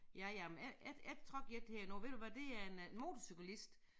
Ja ja men et et et trak jeg et her nu ved du hvad det er en øh motorcyklist